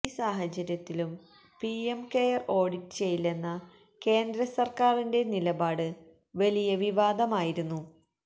ഈ സാഹചര്യത്തിലും PM care audit ചെയ്യില്ലെന്ന കേന്ദ്ര സര്ക്കാരിന്റെ നിലപാട് വലിയ വിവാദമായിരുന്നു